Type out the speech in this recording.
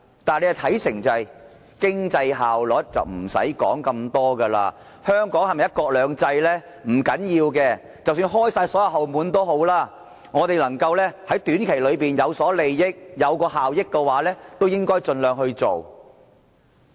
但他們的看法是，以經濟效益先行，其他的不用多說，香港是否"一國兩制"，不要緊，即使打開所有"後門"也好，他們能夠在短期內有利益，有效益的話，也應該盡量做。